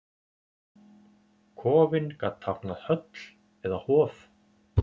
kofinn gat táknað höll eða hof